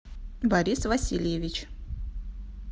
борис васильевич